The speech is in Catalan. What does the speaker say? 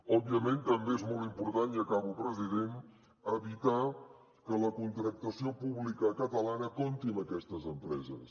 òbviament també és molt important i acabo president evitar que la contractació pública catalana compti amb aquestes empreses